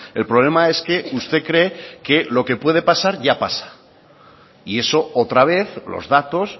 el problema es que usted cree que lo que puede pasar ya pasa y eso otra vez los datos